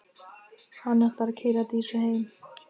Hann ætlar að keyra Dísu heim.